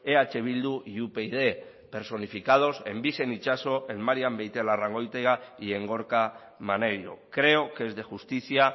eh bildu y upyd personificados en bixen itxaso en marian beitialarrangoitia y en gorka maneiro creo que es de justicia